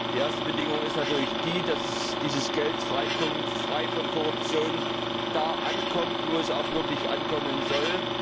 Die erste Bedingung ist natürlich die, dass dieses Geld frei von Korruption da ankommt, wo es auch wirklich ankommen soll.